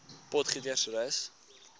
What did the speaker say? potgietersrus